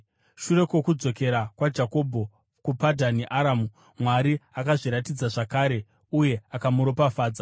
Shure kwokudzokera kwaJakobho kuPadhani Aramu, Mwari akazviratidza zvakare uye akamuropafadza.